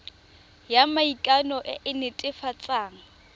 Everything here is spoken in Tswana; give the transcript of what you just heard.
ya maikano e e netefatsang